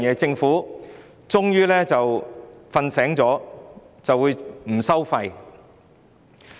政府終於睡醒了，不收費。